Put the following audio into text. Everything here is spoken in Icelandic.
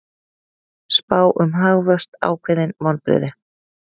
Spá um hagvöxt ákveðin vonbrigði